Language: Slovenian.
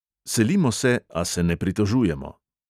Selimo se, a se ne pritožujemo.